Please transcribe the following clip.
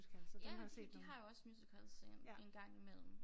Jamen de de har også musicals øh en gang imellem